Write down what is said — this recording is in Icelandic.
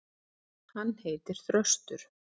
Hann heitir Þröstur.